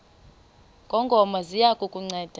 ngongoma ziya kukunceda